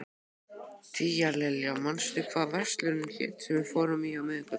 Tíalilja, manstu hvað verslunin hét sem við fórum í á miðvikudaginn?